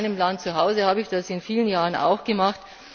In meinem Land habe ich das in vielen Jahren auch gemacht.